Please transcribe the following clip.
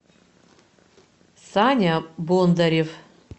саня бондарев